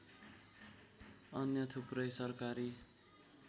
अन्य थुप्रै सरकारी